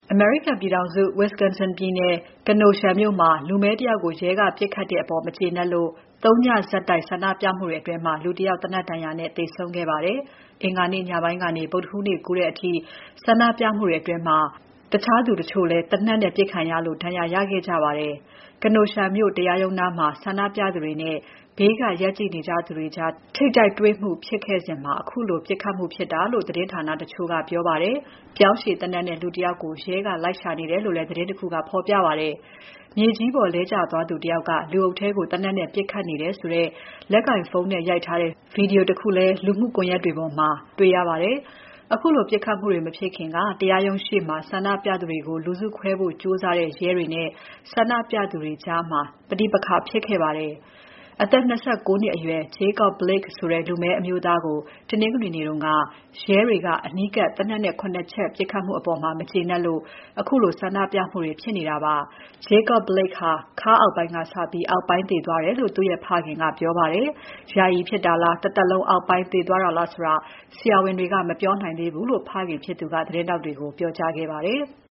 အမေရိကန်ပြည်ထောင်စု Wisconsin ပြည်နယ် Kenosha မြို့မှာ လူမည်းတယောက်ကို ရဲက ပစ်ခတ်ခဲ့တဲ့အပေါ်မကျေနပ်လို့ သုံးညဆက်တိုက် ဆန္ဒပြမှုအတွင်း လူတယောက်သေနတ်ဒဏ်ရာနဲ့ သေဆုံးခဲ့ပါတယ်။ အင်္ဂါနေ့ညပိုင်းကနေ ဗုဒ္ဓဟူးနေ့ကူးတဲ့အထိ ဆန္ဒပြမှုတွေအတွင်း တခြားသူတချို့လည်း သေနတ်နဲ့ ပစ်ခတ်ခံရလို့ ဒဏ်ရာရခဲ့ကြပါတယ်။ Kenosha မြို့တရားရုံးနားမှာ ဆန္ဒပြသူတွေနဲ့ ဘေးက ရပ်ကြည့်နေသူတွေကြား ထိပ်တိုက်တွေ့မှုတွေဖြစ်ခဲ့စဉ် ခုလို ပစ်ခတ်မှုဖြစ်တာလို့ သတင်းဌာနတချို့က ပြောပါတယ်။ ပြောင်းရှည်သေနတ်နဲ့ လူတယောက်ကို ရဲက လိုက်ရှာနေတယ်လို့ သတင်းတခုက ဖော်ပြပါတယ်။ မြေကြီးပေါ်လဲကျသွားသူ တယောက်က လူအုပ်ထဲကို သေနတ်နဲ့ ပစ်ခတ်နေတယ်ဆိုတဲ့ လက်ကိုင်ဖုန်းနဲ့ရိုက်ထားတဲ့ ဗွီဒီယိုတခုလည်း လူမှုကွန်ယက်ပေါ်မှာ တေ့ွရပါတယ်။ ခုလိုပစ်ခတ်မှုတွေ မဖြစ်ခင်က တရားရုံးရှေ့မှာ ဆန္ဒပြနေသူတွေကို လူစုခွဲဖို့ကြိုးစားတဲ့ ရဲတွေနဲ့ ဆန္ဒပြသူတွေကြား ပဋိပက္ခဖြစ်ခဲ့ပါတယ်။ အသက် ၂၉ နှစ်အရွယ် Jacob Blake ဆိုတဲ့ လူမည်းအမျိုးသားကို တနင်္ဂနွေနေ့က ရဲတွေက အနီးကပ် သေနတ်နဲ့ ၇ ချက် ပစ်ခတ်ခဲ့မှုအပေါ် မကျေနပ်လို့ ခုလိုဆန္ဒပြမှုတွေဖြစ်နေတာပါ။ Jacob Blake ဟာ ခါးအောက်ပိုင်းကစပြီး အောက်ပိုင်းသေသွားတယ်လို့ သူ့ရဲ့ ဖခင်က ပြောပါတယ်။ ယာယီဖြစ်တာလား တသက်လုံး အောက်ပိုင်းသေသွားသလားဆိုတာ ဆရာဝန်တွေက မပြောနိုင်သေးဘူးလို့ ဖခင်ဖြစ်သူက သတင်းထောက်တွေကို ပြောကြားခဲ့ပါတယ်။